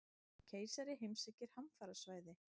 Keisari heimsækir hamfarasvæði